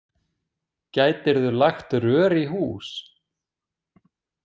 Gætirðu lagt rör í hús?